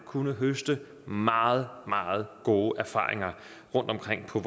kunnet høste meget meget gode erfaringer rundtomkring på